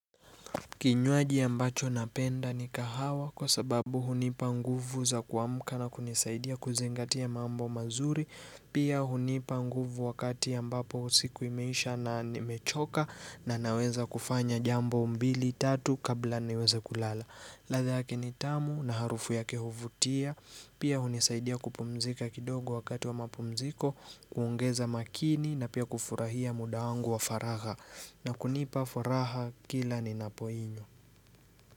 Kinyuaji ambacho napenda ni kahawa kwa sababu hunipa nguvu za kuamuka na kunisaidia kuzingatia mambo mazuri Pia hunipa nguvu wakati ambapo usiku imeisha na ni mechoka na naweza kufanya jambo mbili tatu kabla niweza kulala ladha yake nitamu na harufu yake huvutia Pia hunisaidia kupumzika kidogo wakati wa mapumziko, kuongeza makini na pia kufurahia muda wangu wa faraha na kunipa furaha kila ninapoinywa.